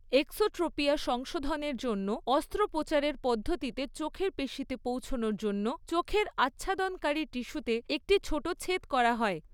Exotropia সংশোধনের জন্য অস্ত্রোপচারের পদ্ধতিতে চোখের পেশীতে পৌঁছনোর জন্য চোখের আচ্ছাদনকারী টিস্যুতে একটি ছোট ছেদ করা হয়।